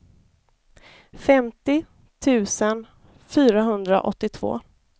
femtio tusen fyrahundraåttiotvå